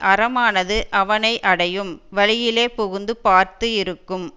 அறமானது அவனை அடையும் வழியிலே புகுந்து பார்த்து இருக்கும்